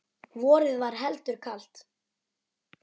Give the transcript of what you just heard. Vorið var heldur kalt.